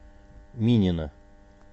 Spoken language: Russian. минина